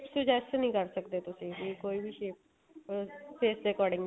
suggest ਨਹੀਂ ਕ਼ਰ ਸਕਦੇ ਤੁਸੀਂ ਵੀ ਕੋਈ ਵੀ shape ਅਹ face ਦੇ according